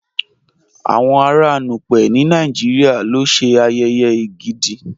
Awọn ara Núpẹ̀ ni Nàìjíríà ló ṣẹ́ ayèyè Ègídì.